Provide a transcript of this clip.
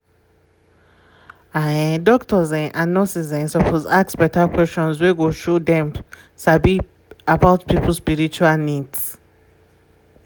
ah um doctors um um and nurses um suppose ask beta questions wey go show dem sabi about people spiritual needs